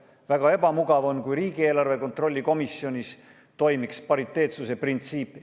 Väga ebamugav on, kui riigieelarve kontrolli komisjonis toimiks pariteetsuse printsiip.